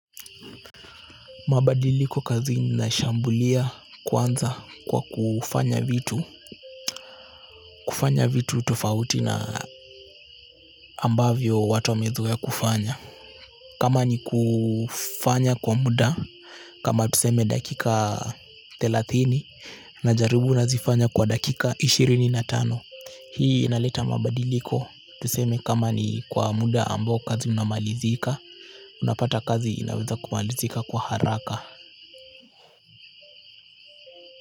Mabadiliko kazini, nashambulia kwanza kwa kufanya vitu kufanya vitu tofauti na ambavyo watu wamezoea kufanya kama ni kufanya kwa muda kama tuseme dakika thelathini, najaribu nazifanya kwa dakika ishirini na tano. Hii inaleta mabadiliko, tuseme kama ni kwa muda ambao kazi unamalizika unapata kazi inaweza kumalizika kwa haraka.